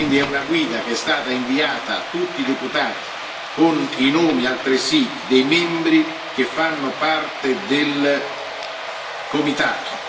È una guida che è stata inviata a tutti i deputati con i nomi, altresì, dei membri che fanno parte del comitato.